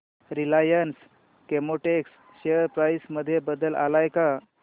Reliance Chemotex share price मध्ये बदल आलाय का